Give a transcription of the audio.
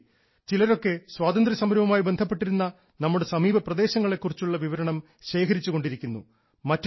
ചിലതൊക്കെ സ്വാതന്ത്ര്യസമരവുമായി ബന്ധപ്പെട്ടിരുന്ന നമ്മുടെ സമീപപ്രദേശങ്ങളെ കുറിച്ചുള്ള വിവരണം ശേഖരിച്ചുകൊണ്ടിരിക്കുന്നു മറ്റു ചിലർ